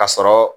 A sɔrɔ